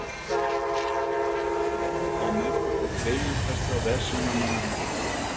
Það fór vel á með okkur þremur þessa verslunarmannahelgi.